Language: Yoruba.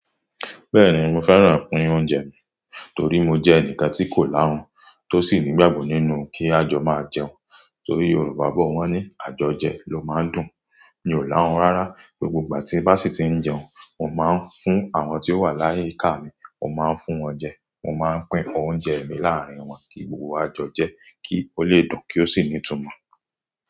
Bẹ́ẹ̀ni, mo fẹ́ràn pín oúnjẹ mi torí mo jẹ́ ẹnì kan tí kò láhun tó sì nígbàgbọ nínú kí àjọ máa jẹun. Torí Yorùbá bọ wọn ní "Àjọjẹ ló máa ń dùn". Mi ò láhun rárá. Gbogbo ìgbà tí bá sì ti ń jẹun, mo máa ń fún àwọn tí ó wà láyìíká mi. Mo máa ń fún wọn jẹ, mo máa ń pín oúnjẹ mi láàárín wọn kí gbogbo wa jọ jẹ́ kí ó lè dùn kí ó sì ní ìtumọ̀.